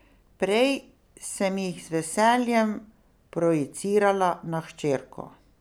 Prej sem jih z veseljem projicirala na hčerko...